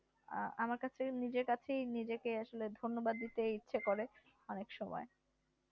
আমার কাছে নিজেকেই কাছেই নিজেকে আসলে ধন্যবাদ দিতে ইচ্ছা করে অনেক সময়